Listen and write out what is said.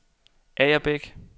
Agerbæk